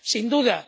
Sin duda.